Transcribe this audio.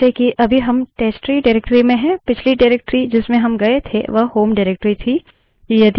जैसे कि अभी हम testtree directory में हैं पिछली directory जिसमें हम गये थे वह home directory थी